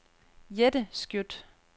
Jette Skjødt